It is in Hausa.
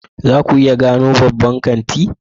Za ku iya gano babban kanti?